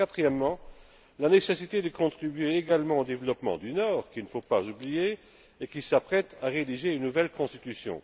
Quatrièmement la nécessité de contribuer également au développement du Nord, qu'il ne faut pas oublier, et qui s'apprête à rédiger une nouvelle constitution.